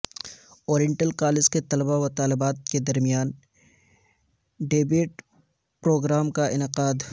oriental college کے طلباوطالبات کے درمیان ڈیبیٹ پروگرام کاانعقاد